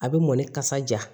A bɛ mɔni kasa ja